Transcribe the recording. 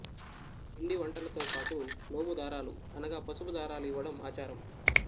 పీండి వంటలతో బాటు నోము దారాలు అనగా పసుపు దారాలు ఇవ్వడం అచారం